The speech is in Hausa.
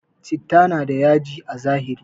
Chitta na da yaji a zahiri